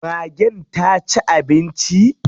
Magen ta ci abinci?